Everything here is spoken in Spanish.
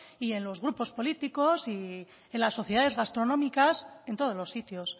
y en los grupos políticos y en las sociedades gastronómicas en todos los sitios